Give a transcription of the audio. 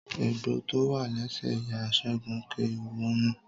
Egbò tó wà lẹsẹ ìyá Sẹgun kè wọnú.